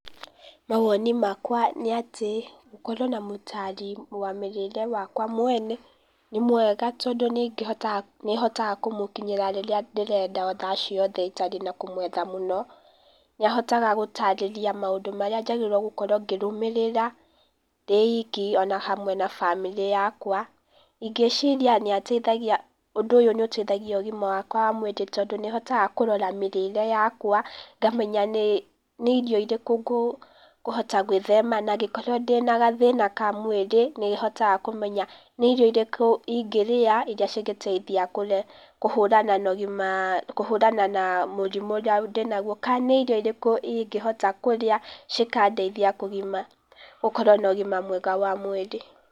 Mawoni makwa nĩ atĩ, gũkorwo na mũtaari wa mĩrĩre wakwa mwene, nĩ mwega tondũ nĩhotaga kũmũkinyĩra rĩrĩa ndĩrenda, thaa ciothe itarĩ na kũmwetha mũno, nĩahotaga gũtarĩria maũndũ maria njagĩrĩire gũkorwo ngĩrũmĩrĩra, ndĩ iki, o na hamwe na bamĩrĩ yakwa, Ingĩciria nĩateithagia ũndũ ũyũ nĩ ũteithagia ũgima wakwa wa mwĩrĩ tondũ nĩhotaga kũrora mĩrĩre yakwa, ngamenya nĩ irio irĩkũ ngũhota gwĩthema na angĩkorwo ndĩna gathĩna ka mwĩrĩ, nĩ hotaga kũmenya nĩ irio irĩkũ ingĩrĩa, iria cingĩteithia kũhũrana na mũrimũ ũrĩa ndĩ naguo, kana nĩ irio irĩkũ ingĩhota kũrĩa cikandeithia kũgima gũkorwo na ũgima mwega wa mwĩrĩ.